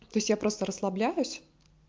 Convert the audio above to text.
то есть я просто расслабляюсь